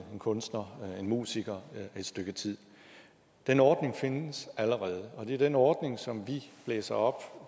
kunstner eller musiker et stykke tid den ordning findes allerede og det er den ordning som vi blæser op